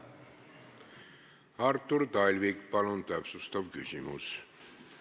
Artur Talvik, palun täpsustav küsimus!